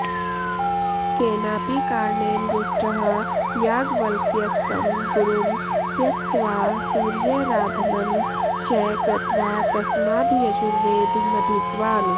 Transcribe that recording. केनापि कारणेन रुष्टः याज्ञवल्क्यस्तं गुरुं त्यक्त्वा सूर्याराधनं च कृत्वा तस्माद्ययजुर्वेदमधीतवान्